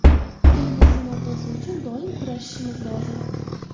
Tilimizning obro‘si uchun doim kurashishimiz lozim.